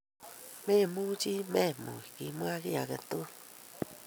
Memuchi memuch kimwa kiy agetugul.